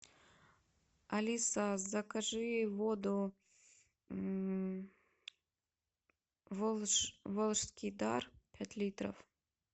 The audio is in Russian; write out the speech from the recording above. алиса закажи воду волжский дар пять литров